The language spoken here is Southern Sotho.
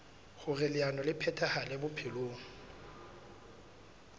hoer leano le phethahale bophelong